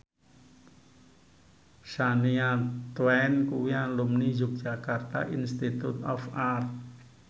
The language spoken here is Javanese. Shania Twain kuwi alumni Yogyakarta Institute of Art